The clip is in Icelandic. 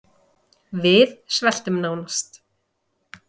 Við sveltum nánast